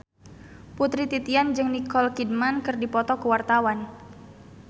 Putri Titian jeung Nicole Kidman keur dipoto ku wartawan